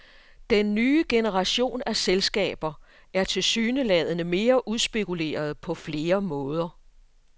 Den nye generation af selskaber er tilsyneladende mere udspekulerede på flere måder.